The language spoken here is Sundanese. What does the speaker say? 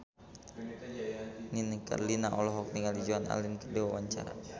Nini Carlina olohok ningali Joan Allen keur diwawancara